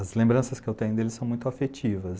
As lembranças que eu tenho dele são muito afetivas.